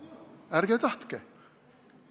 Ärge tahtke!